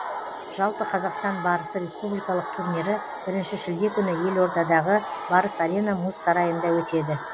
жалпы қазақстан барысы республикалық турнирі бірінші шілде күні елордадағы барыс арена мұз сарайында өтеді